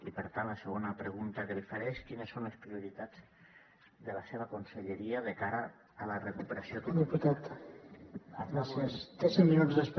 i per tant la segona pregunta que li faré és quines són les prioritats de la seva conselleria de cara a la recuperació econòmica